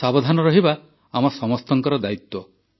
ସାବଧାନ ରହିବା ଆମ ସମସ୍ତଙ୍କର ଦାୟିତ୍ୱ